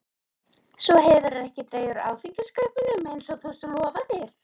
Svo hefurðu ekki dregið úr áfengiskaupunum eins og þú lofaðir.